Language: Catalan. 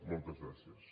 moltes gràcies